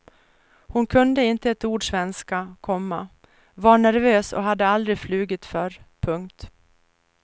Hon kunde inte ett ord svenska, komma var nervös och hade aldrig flugit förr. punkt